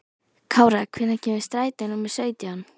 Kára, hvenær kemur strætó númer sautján?